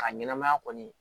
A ɲɛnɛmaya kɔni